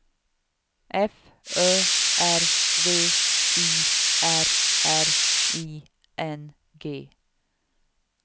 F Ö R V I R R I N G